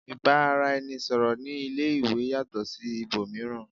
ìbánisọ̀rọ̀ ní ilé ìwé yàtọ̀ sí ibòmíràn